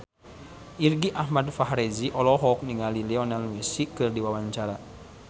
Irgi Ahmad Fahrezi olohok ningali Lionel Messi keur diwawancara